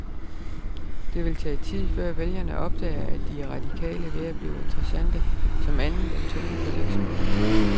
Det vil tage tid, før vælgerne opdager, at de radikale er ved at blive interessante som andet end tungen på vægtskålen.